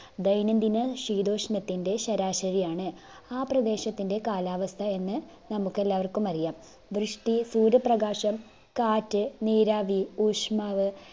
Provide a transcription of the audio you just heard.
ദൈനംദിന ശീതോഷ്മത്തിൻ്റെ ശരാശരിയാണ്. ആ പ്രദേശത്തിന്റെ കാലാവസ്ഥയെന്ന് നമുക്കെല്ലാവർക്കും അറിയാം. വൃഷ്ടി, സൂര്യപ്രകാശം, കാറ്റ്, നീരാവി, ഊഷ്മാവ്,